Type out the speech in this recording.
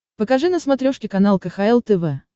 покажи на смотрешке канал кхл тв